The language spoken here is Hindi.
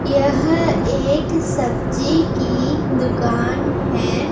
यह एक सब्जी की दुकान है।